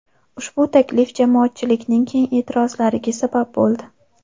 Ushbu taklif jamoatchilikning keng e’tirozlariga sabab bo‘ldi.